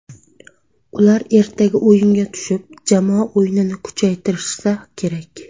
Ular ertaga o‘yinga tushib, jamoa o‘yinini kuchaytirishsa kerak.